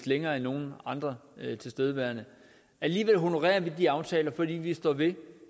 længere end nogen andre tilstedeværende alligevel honorerer vi de aftaler fordi vi står ved